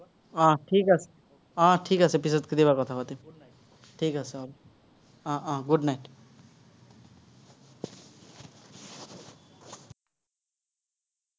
উম ঠিক আছে। উম ঠিক আছে, পিচত কেতিয়াবা কথা পাতিম। ঠিক আছে হ'ব। উম উম good night